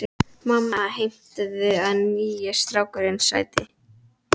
Mamma heimtaði að nýi strákurinn sæti.